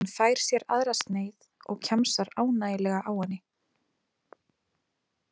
Hún fær sér aðra sneið og kjamsar ánægjulega á henni.